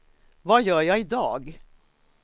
vad gör jag idag